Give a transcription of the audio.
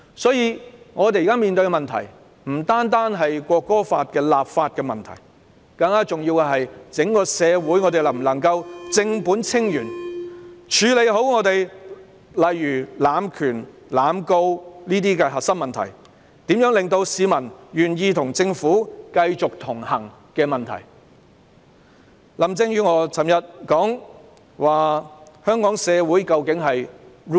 所以，我們現時面對的問題不單是《條例草案》的立法問題，更重要的是整個社會能否正本清源，處理好本港的濫權、濫告等核心問題，以及如何令市民願意繼續與政府同行。